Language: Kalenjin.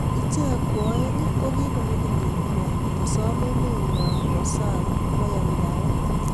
Icheek kwaeng kibun okiliek kwaak kosom emennywaa kwa sang kwo yamdaet